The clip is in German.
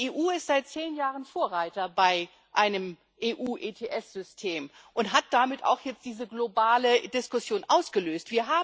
Die EU ist seit 10 Jahren Vorreiter bei einem EU ETS System und hat damit auch jetzt diese globale Diskussion ausgelöst.